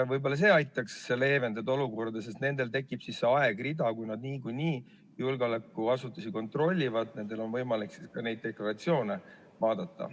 Võib-olla see aitaks olukorda leevendada, sest nendel tekib siis see aegrida: kui nad niikuinii julgeolekuasutusi kontrollivad, siis neil on võimalik ka neid deklaratsioone vaadata.